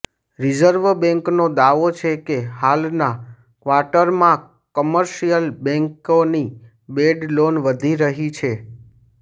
reserve બેંકનો દાવો છે કે હાલના ક્વાર્ટરમાં કમર્શિયલ બેંકોની બેડ લોન વધી રહી છે